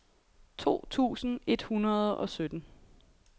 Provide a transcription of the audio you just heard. to tusind et hundrede og sytten